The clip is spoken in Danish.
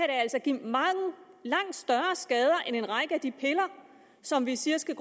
altså give langt større skader end en række af de piller som vi siger skal